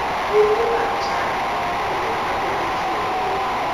Puothe mag cham ipuro kapok ochwo kodhi.